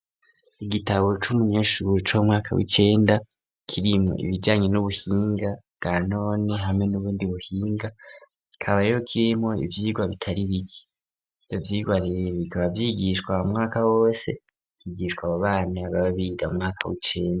Igitabo c'umunyeshuri c'umwaka w'icenda kirimwo ibijanye n'ubuhinga bwa none hamwe n'ubundi buhinga kika rero kirimwo ivyigwa bitari bike ivyo vyirwa rero bikaba vyigishwa umwaka wose vyigishwa abo bana baba biga mu mwaka w'icenda.